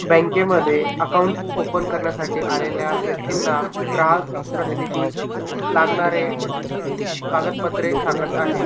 बँके मध्ये account open करण्यासाठी आलेल्या व्यक्तींना ग्राहक प्रतिनिधी लागणारे कागदपत्रे सांगत आहेत.